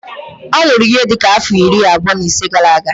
Ọ nwụrụ ihe dị ka afọ iri abụọ na isii gara-aga.